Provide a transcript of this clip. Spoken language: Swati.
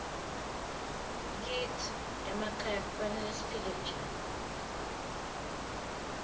kitsi emakhaya kufanele siphile njani